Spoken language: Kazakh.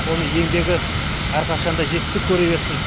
оның еңбегі әрқашанда жетістік көре берсін